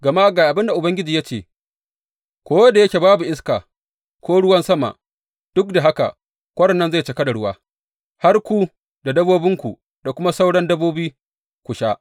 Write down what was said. Gama ga abin da Ubangiji ya ce, ko da yake babu iska, ko ruwan sama, duk da haka kwarin nan zai cika da ruwa, har ku da dabbobinku da kuma sauran dabbobi ku sha.